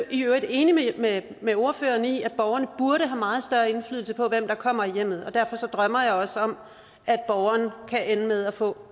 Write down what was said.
i øvrigt enig med med ordføreren i at borgerne burde have meget større indflydelse på hvem der kommer i hjemmet og derfor drømmer jeg også om at borgeren kan ende med at få